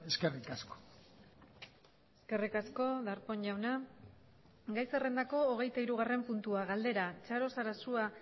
eskerrik asko eskerrik asko darpon jauna gai zerrendako hogeita hirugarren puntua galdera txaro sarasua